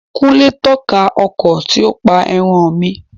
Kúnlé tọ́ka ọkọ tí ó pa ẹran mi